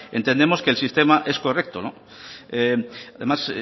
entendemos que el sistema es correcto además